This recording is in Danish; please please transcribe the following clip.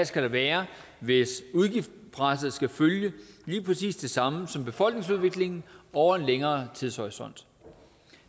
skal være hvis udgiftspresset skal følge lige præcis det samme som befolkningsudviklingen over en længere tidshorisont